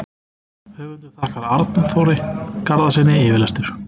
Höfundur þakkar Arnþóri Garðarssyni yfirlestur.